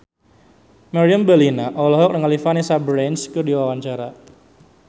Meriam Bellina olohok ningali Vanessa Branch keur diwawancara